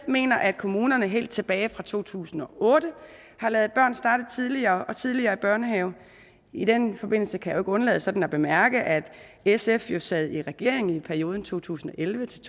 mener at kommunerne helt tilbage fra to tusind og otte har ladet børn starte tidligere og tidligere i børnehave i den forbindelse kan undlade sådan at bemærke at sf jo sad i regering i perioden to tusind og elleve til